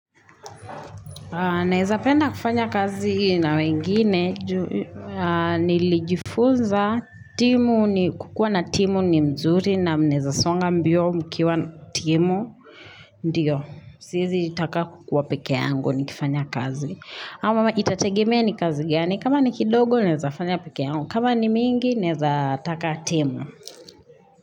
Naweza penda kufanya kazi na wengine ju nilijifunza timu ni kukua na timu ni mzuri na mnaweza songa mbio mkiwa timu, ndiyo. Siwezi taka kukuwa pekee yangu nikifanya kazi. Ama itategemea ni kazi gani, kama ni kidogo naweza fanya pekee yangu, kama ni mingi naweza taka timu.